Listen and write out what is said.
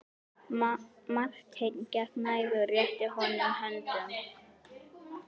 Marteinn gekk nær og rétti honum höndina.